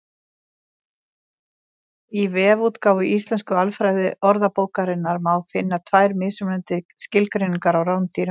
Í vefútgáfu Íslensku alfræðiorðabókarinnar má finna tvær mismunandi skilgreiningar á rándýrum.